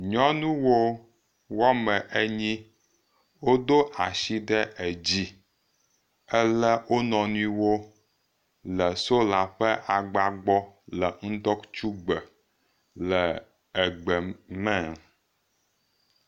NyɔNyɔnuwo woame enyi wodo asi ɖe edzi ele wo nɔni wo le sola ƒe agba gbɔ le ŋdɔkutsugbe le egbe me.